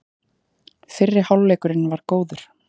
Fyrri hálfleikurinn var góður